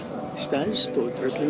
stærst og tröllin